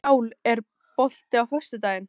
Sál, er bolti á föstudaginn?